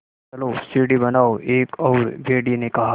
चलो सीढ़ी बनाओ एक और भेड़िए ने कहा